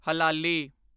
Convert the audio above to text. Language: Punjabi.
ਹਲਾਲੀ